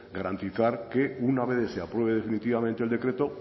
garantizar que una vez que se apruebe definitivamente el decreto